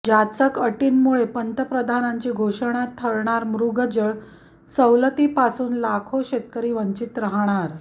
जाचक अटींमुळे पंतप्रधानांची घोषणा ठरणार मृगजळ सवलतीपासुन लाखो शेतकरी वंचित राहणार